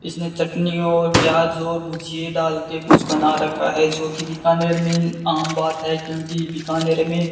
इसमें चटनी और प्याज और भूजिए डाल के कुछ बना रखा है जोकि बीकानेर में आम बात है क्योंकि बीकानेर में --